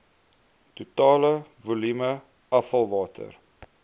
totale volume afvalwater